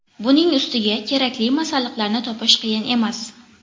Buning ustiga kerakli masalliqlarni topish qiyin emas.